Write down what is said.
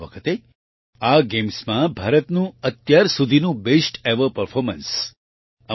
આ વખતે આ ગેમ્સમાં ભારતનું અત્યાર સુધીનું બેસ્ટ એવર પરફોર્મન્સ રહ્યું હતું